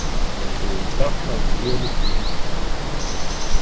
Það var búið að stafla upp fjölum í innkeyrslunni.